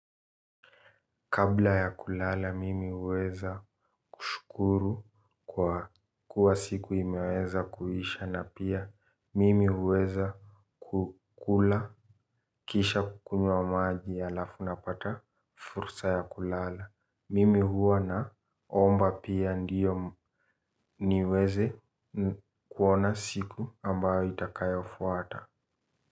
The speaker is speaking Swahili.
Kabla ya kulala mimi huweza kushukuru kwa kuwa siku imeweza kuisha na pia mimi huweza kukula kisha kukunywa maji halafu napata fursa ya kulala. Mimi huwa naomba pia ndiyo niweze kuona siku ambayo itakayofuata.